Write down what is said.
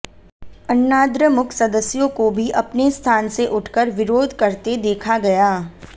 अन्नाद्रमुक सदस्यों को भी अपने स्थान से उठकर विरोध करते देखा गया